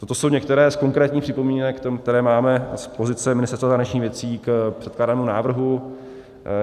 To jsou některé z konkrétních připomínek, které máme z pozice Ministerstva zahraničních věcí k předkládanému návrhu.